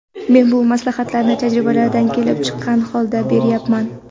Men bu maslahatlarni tajribalardan kelib chiqqan holda berayapman.